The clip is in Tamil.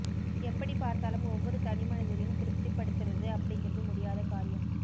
எப்படி பார் த்தாலும் ஒவ்வொரு தனிமனிதரையும் திருப்திப்படுத்துறது அப்டிங்குறது முடியாத காரியம்